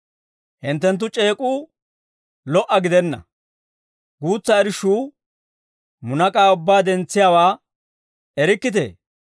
Hinttenttu c'eek'uu lo"a gidenna. Guutsa irshshuu munak'aa ubbaa dentsiyaawaa erikkitee?